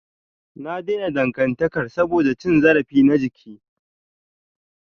Na daina dangantakar saboda cin zarafi na jiki.